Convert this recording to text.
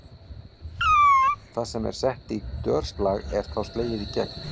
Það sem sett er í dörslag er þá slegið í gegn.